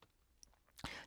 TV 2